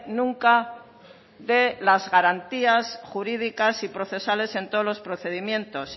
nunca de las garantías jurídicas y procesales en todos los procedimientos